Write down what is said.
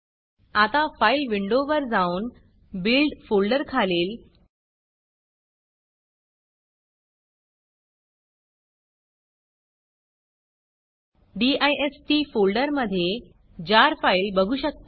आता फाईल विंडोवर जाऊन buildबिल्ड फोल्डर खालील distडिस्ट फोल्डर मधे जार फाईल बघू शकता